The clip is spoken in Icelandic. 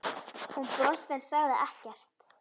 Hún brosti en sagði ekkert.